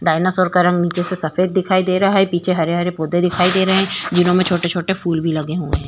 Dinosaur का रंग नीचे से सफेद दिखाई दे रहा है पीछे हरे-हरे पौधे दिखाई दे रहे हैं जिन्हों में छोटे-छोटे फूल भी लगे हुए हैं।